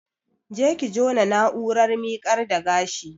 Je ki jona na'urar miƙar da gashi